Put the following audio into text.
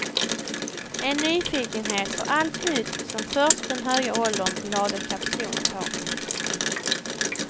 En nyfikenhet på allt nytt som först den höga åldern lade kapson på.